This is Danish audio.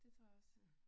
Det tror jeg også